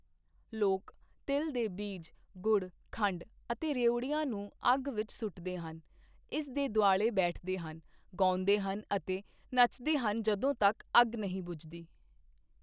ਲੋਕ ਤਿਲ ਦੇ ਬੀਜ, ਗੁੜ, ਖੰਡ ਅਤੇ ਰਿਉੜੀਆਂ ਨੂੰ ਅੱਗ ਵਿੱਚ ਸੁੱਟਦੇ ਹਨ, ਇਸ ਦੇ ਦੁਆਲੇ ਬੈਠਦੇ ਹਨ, ਗਾਉਂਦੇ ਹਨ ਅਤੇ ਨੱਚਦੇ ਹਨ ਜਦੋਂ ਤੱਕ ਅੱਗ ਨਹੀਂ ਬੁਝਦੀ।